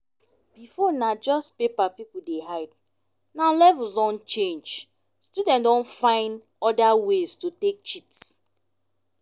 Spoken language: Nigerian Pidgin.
before na just paper pipo dey hide now levels don change student don find oda ways to take cheat